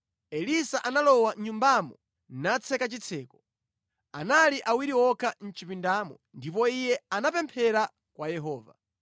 Elisa analowa mʼnyumbamo natseka chitseko. Anali awiri okha mʼchipindamo ndipo iye anapemphera kwa Yehova.